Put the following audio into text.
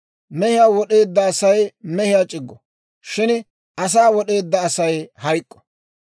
Mehiyaa wod'eedda Asay mehiyaa c'iggo; shin asaa wod'eedda Asay hayk'k'o.